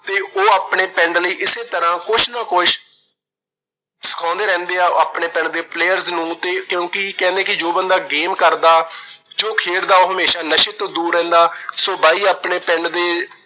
ਉਹ ਆਪਣੇ ਪਿੰਡ ਲਈ ਇਸੇ ਤਰ੍ਹਾਂ ਕੁਛ ਨਾ ਕੁਛ ਸਿਖਾਉਂਦੇ ਰਹਿੰਦੇ ਆ, ਆਪਣੇ ਪਿੰਡ ਦੇ players ਨੂੰ ਤੇ ਕਿਉਂਕਿ ਕਹਿੰਦੇ ਜੋ ਬੰਦਾ game ਕਰਦਾ, ਜੋ ਖੇਡਦਾ, ਉਹ ਹਮੇਸ਼ਾ ਨਸ਼ੇ ਤੋਂ ਦੂਰ ਰਹਿੰਦਾ। so ਬਾਈ ਆਪਣੇ ਪਿੰਡ ਦੇ